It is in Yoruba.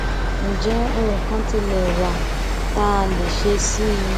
ǹjẹ ohun kan tilẹ wà tá a lè ṣe sí i